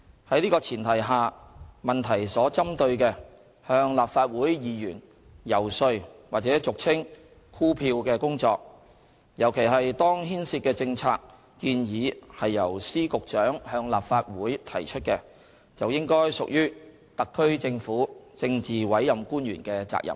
在此前提下，質詢所針對的向立法會議員遊說或俗稱"箍票"的工作，尤其是當牽涉的政策建議是由司、局長向立法會提出的，就應該屬於特區政府政治委任官員的責任。